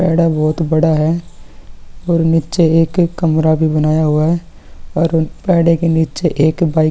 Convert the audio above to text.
बहुत बडा है और नीचे एक कमरा भी बनाया हुआ है और पेड़े के नीचे एक बाईक --